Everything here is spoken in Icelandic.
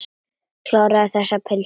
Kláraðu þessa pylsu.